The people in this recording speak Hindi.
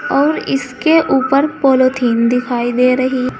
और इसके ऊपर पॉलिथीन दिखाई दे रही।